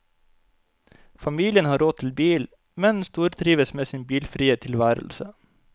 Familien har råd til bil, men stortrives med sin bilfrie tilværelse.